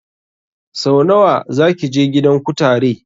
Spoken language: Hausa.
Sau nawa zaki je gidan kutare?